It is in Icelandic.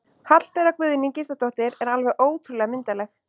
Hallbera Guðný Gísladóttir er alveg ótrúlega myndarleg